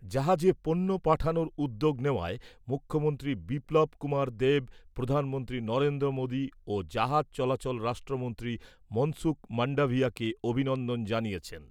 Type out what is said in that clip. জাহাজে পণ্য পাঠানোর উদ্যোগ নেওয়ায় মুখ্যমন্ত্রী বিপ্লব কুমার দেব প্রধানমন্ত্রী নরেন্দ্র মোদি ও জাহাজ চলাচল রাষ্ট্রমন্ত্রী মনসুখ মান্ডাভিয়াকে অভিনন্দন জানিয়েছেন ।